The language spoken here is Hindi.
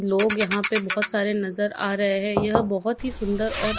लोग यहां पे बहोत सारे नजर आ रहे हैं यह बहोत ही सुंदर और--